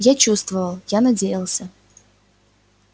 я чувствовал я надеялся